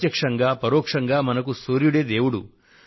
ప్రత్యక్షంగా పరోక్షంగా మనకు సూర్యుడే దేవుడు